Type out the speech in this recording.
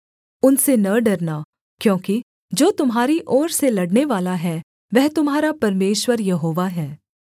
उनसे न डरना क्योंकि जो तुम्हारी ओर से लड़नेवाला है वह तुम्हारा परमेश्वर यहोवा है